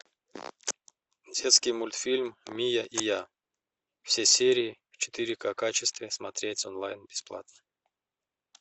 детский мультфильм мия и я все серии в четыре ка качестве смотреть онлайн бесплатно